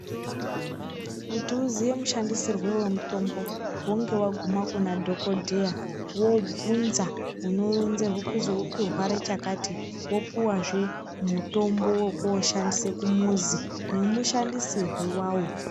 Kuti uziye mashandisirwe wemutombo hunge waguma kuna dhokodheya wobvunza unorinzerwe kuzwi uri kurwra chakati wopuwazve mutombo wokoshandisa kumuzi nemushandisirwe wawo.